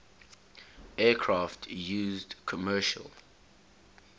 aircraft used commercial